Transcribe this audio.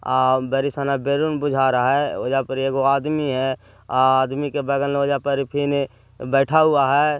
आ बारिश बरी सना का बहरूप बिछा रहा हे ओर वहा पे एक आदमी हैं आदमी के अग बगल बैठा हुआ हैं।